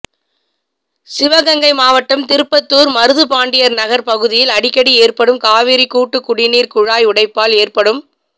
சிவகங்கை மாவட்டம் திருப்பத்தூ்ா் மருதுபாண்டியா் நகா் பகுதியில் அடிக்கடி ஏற்படும் காவிரி கூட்டுக்குடிநீா் குழாய் உடைப்பால் ஏற்படும்